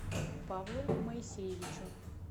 павлу моисеевичу